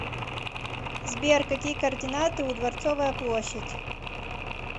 сбер какие координаты у дворцовая площадь